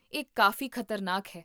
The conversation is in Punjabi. ਇਹ ਕਾਫ਼ੀ ਖ਼ਤਰਨਾਕ ਹੈ